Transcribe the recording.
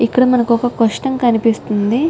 ఇక్కడ మనకి ఒక క్యూస్షన్ కనిపిస్తునది.